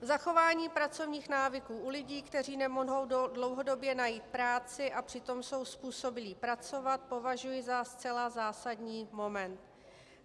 Zachování pracovních návyků u lidí, kteří nemohou dlouhodobě najít práci a přitom jsou způsobilí pracovat, považuji za zcela zásadní moment.